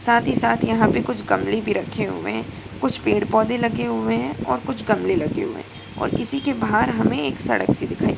साथ ही साथ यहाँ कुछ गमले भी रखे हुए हैं कुछ पेड़-पौधे लगे हुए हैं और कुछ गमले लगे हुए हैं और इसी के बाहर हमें एक सड़क सी दिखाई दे रही है।